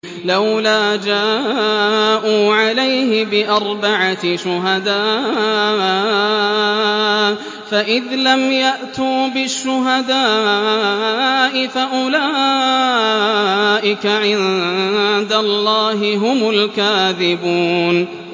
لَّوْلَا جَاءُوا عَلَيْهِ بِأَرْبَعَةِ شُهَدَاءَ ۚ فَإِذْ لَمْ يَأْتُوا بِالشُّهَدَاءِ فَأُولَٰئِكَ عِندَ اللَّهِ هُمُ الْكَاذِبُونَ